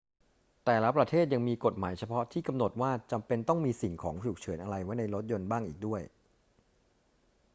แต่ละประเทศยังมีกฎหมายเฉพาะที่กำหนดว่าจำเป็นต้องมีสิ่งของฉุกเฉินอะไรไว้รถยนต์บ้างอีกด้วย